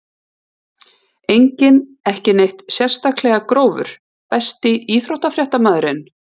Enginn ekki neitt sérstaklega grófur Besti íþróttafréttamaðurinn?